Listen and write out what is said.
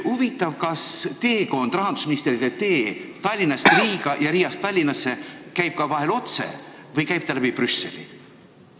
Huvitav, kas rahandusministrite tee Tallinnast Riiga ja Riiast Tallinnasse kulgeb vahel ka otse või ikka ainult läbi Brüsseli?